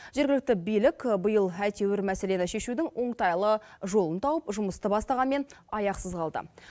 жергілікті билік биыл әйтеуір мәселені шешудің оңтайлы жолын тауып жұмысты бастағанмен аяқсыз қалды